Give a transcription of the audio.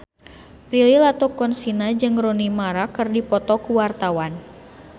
Prilly Latuconsina jeung Rooney Mara keur dipoto ku wartawan